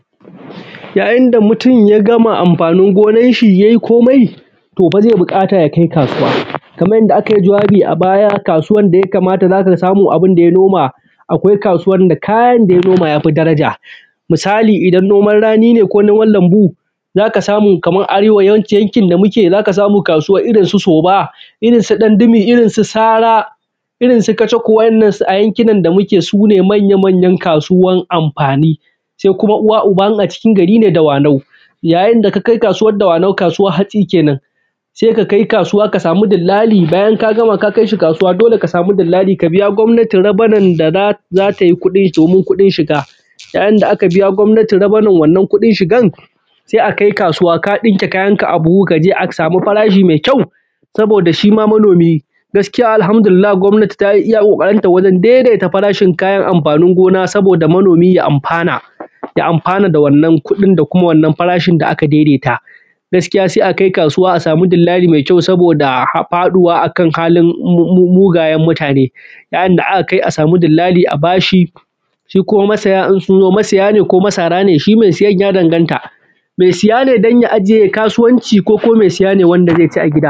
Yayin da mutum ya gama amfanin gonanshi yai komai, to fa zai buƙata ya kai kasuwa, kaman yanda aka yi jawabi a baya. Kasuwan da ya kama ya za ka samu abun da ya noma, akwai kasuwan da za ka saya noma ya fi daramu, kayan daraja. Misali, idan noman rani ne ko lambu, za ka samu a Arewa, kaman yanki yankin da muke. Za ka samu kasuwa irin su Soba, irin su Gandimi, irin su Sara, irin su Kacabu. Wa’yyannan a yankunan da muke, su ne manya-manyan kasuwan amfani. Sai kuma uba-uwa, in a cikin gari ne, shi ne Dawanau. Yayin da ka kai kasuwan Dawanau, kasuwan hatsi kenan, sai ka kai kasuwa, ka samu dillali. Bayan ka gama, ka kai shi kasuwa, dole ka samu dillali, ka biya gomnati rabenu da za ta i kuɗi, domin kuɗin shiga. Yayin da aka biya gomnati rabanin wannan kuɗin shiga, sai a kai kasuwa, ka ɗinke kayanka a buhu, a je a samu farashi mai ƙyau. Saboda shi ma manomi, gaskiya, Al’hamdulilla, gomnati ta yi iya ƙoƙarinta wajen daidaita farashin kayan amfanin gona, saboda manomi ya amfana. Ya amfana da wannan kuɗin da kuma wannan farashin da aka daidaita. Gaskiya, sai a kai kasuwa, a samu dillali mai ƙyau, saboda faɗuwa akan halin faɗuwan mugayen mutune. Yayin da a kai, a samu dillali, a ba shi. Su kuma masaya, in sun zo, mai saya ne? Ko masara ne? Shi mai sayan ya danganta. Mai saya ne, don ya ajiye? Mai kasuwanci ko ko mai sayan ne, wanda zai ci a gida?